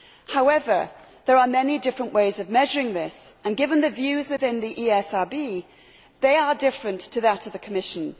However, there are many different ways of measuring this and given the views within the ESRB, they are different to those of the Commission.